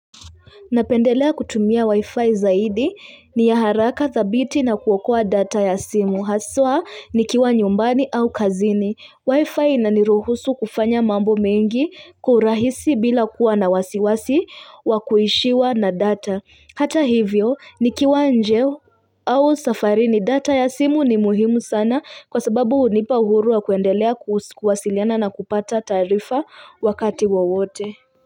Napendelea kutumia wi-fi zaidi ni ya haraka thabiti na kuokoa data ya simu. Haswa nikiwa nyumbani au kazini. Wi-fi inaniruhusu kufanya mambo mengi kwa urahisi bila kuwa na wasiwasi wa kuishiwa na data. Hata hivyo nikiwa nje au safarini, data ya simu ni muhimu sana kwa sababu hunipa uhuru wa kuendelea kuwasiliana na kupata taarifa wakati wowote.